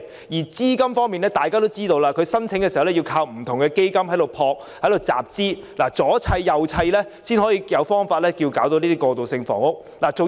而資金方面，大家知道他們靠不同基金集資，加上各方面配合才得以推行過渡性房屋。